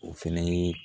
O fɛnɛ ye